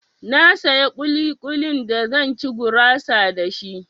Na saya ƙuli-ƙulin da zan ci gurasa da shi.